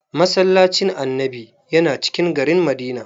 "Massallacin Annabi" yana cikin garin Madina.